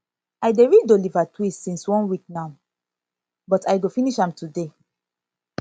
i dey read oliver twist since one week now but i go finish am today